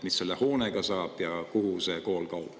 Mis selle hoonega saab ja kuhu see kool kaob?